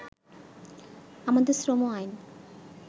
“আমাদের শ্রম আইন